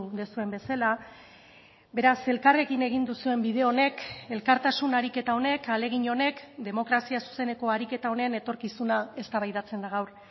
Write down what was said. duzuen bezala beraz elkarrekin egin duzuen bide honek elkartasun ariketa honek ahalegin honek demokrazia zuzeneko ariketa honen etorkizuna eztabaidatzen da gaur